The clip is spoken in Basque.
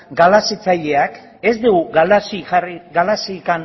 galarazitzaileak ez dugu galarazirik